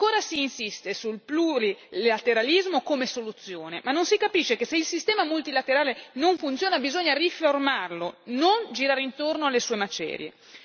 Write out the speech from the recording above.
Ancora si insiste sul plurilateralismo come soluzione, ma non si capisce che se il sistema multilaterale non funziona, bisogna riformarlo, non girare intorno alle sue macerie.